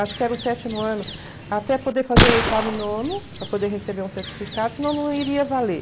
acho que era o sétimo ano, até poder fazer oitavo e nono, para poder receber um certificado, senão não iria valer.